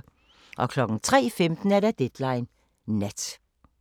03:15: Deadline Nat